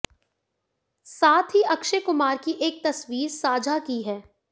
साथ ही अक्षय कुमार की एक तस्वीर साझा की है